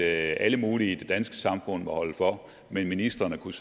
at alle mulige i det danske samfund må holde for men at ministrene kunne